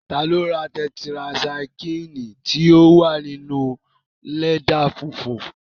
Ta ló ra tẹtirasaikílìnì tí ó wà ní inúu lẹ́dà funfun